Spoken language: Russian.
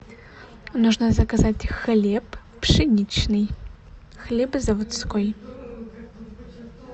нужно заказать хлеб пшеничный хлебозаводской